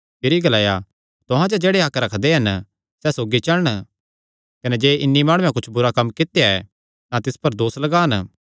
भिरी ग्लाया तुहां च जेह्ड़े हक्क रखदे हन सैह़ सौगी चलण कने जे इन्हीं माणुये कुच्छ बुरा कम्म कित्या ऐ तां तिस पर दोस लगान